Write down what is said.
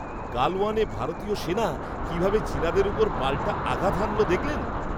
গালওয়ানে ভারতীয় সেনা কিভাবে চীনাদের ওপর পাল্টা আঘাত হানলো দেখলেন?